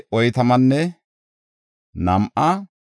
Looda, Hadidanne Ono asay 725;